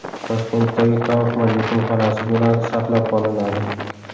Toshkentdagi Kaufman yetimxonasi binosi saqlab qolinadi.